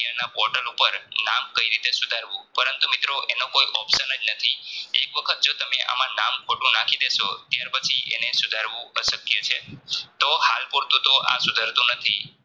કલ્યાણના Portal ઉપર નામ કઇ રીતે સુધારવું પરંતુ મિત્રો એનો કોઈ option જ નથી એક વખત જો તમે આમા નામ ખોટું નાખી દેશો ત્યાર પછી એને સુધારવું અશક્ય છે તો હાલ પૂરતું તો આ સુધારોતો નથી.